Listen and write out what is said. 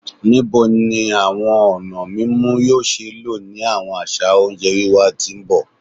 Nibo ni awọn ọna mimu yoo ṣee lo ni awọn aṣa onjẹ wiwa ti n bọ?